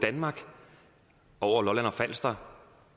danmark over lolland og falster